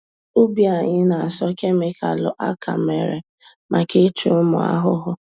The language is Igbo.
Ubi anyị na-asọ kemịkalụ-aka-mere maka ịchụ ụmụ ahụhụ.